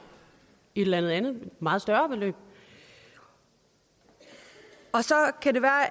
et eller andet meget større beløb så kan det være